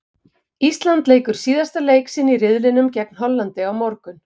Ísland leikur síðasta leik sinn í riðlinum gegn Hollandi á morgun.